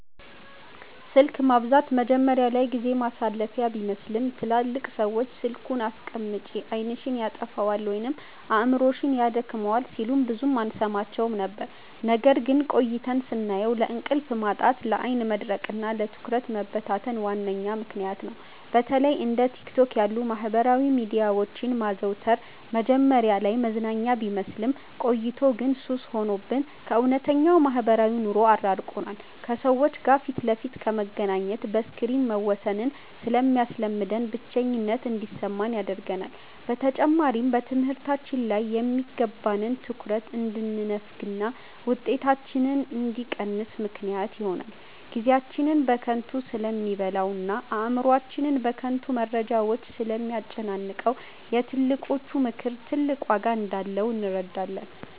ስልክ ማብዛት መጀመሪያ ላይ ጊዜ ማሳለፊያ ቢመስልም፣ ትላልቅ ሰዎች "ስልኩን አስቀምጪ፣ ዓይንሽን ያጠፋዋል ወይም አእምሮሽን ያደክመዋል" ሲሉን ብዙም አንሰማቸውም ነበር። ነገር ግን ቆይተን ስናየው ለእንቅልፍ ማጣት፣ ለዓይን መድረቅና ለትኩረት መበታተን ዋነኛ ምክንያት ነው። በተለይ እንደ ቲክቶክ ያሉ የማህበራዊ ሚዲያዎችን ማዘውተር መጀመሪያ ላይ መዝናኛ ቢመስልም፣ ቆይቶ ግን ሱስ ሆኖብን ከእውነተኛው ማህበራዊ ኑሮ አራርቆናል። ከሰዎች ጋር ፊት ለፊት ከመገናኘት በስክሪን መወሰንን ስለሚያስለምደን፣ ብቸኝነት እንዲሰማን ያደርጋል። በተጨማሪም በትምህርታችን ላይ የሚገባንን ትኩረት እንድንነፈግና ውጤታችን እንዲቀንስ ምክንያት ይሆናል። ጊዜያችንን በከንቱ ስለሚበላውና አእምሮአችንን በከንቱ መረጃዎች ስለሚያጨናንቀው፣ የትልቆቹ ምክር ትልቅ ዋጋ እንዳለው እንረዳለን።